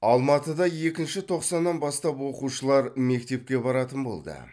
алматыда екінші тоқсаннан бастап оқушылар мектепке баратын болды